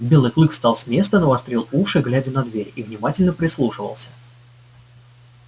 белый клык встал с места навострил уши глядя на дверь и внимательно прислушивался